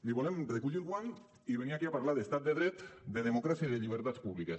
li volem recollir el guant i venir aquí a parlar d’estat de dret de democràcia i de llibertats públiques